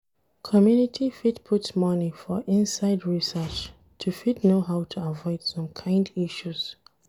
Community fit put money for inside research to fit know how to avoid some kind issues